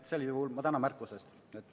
Sel juhul ma tänan märkuse eest!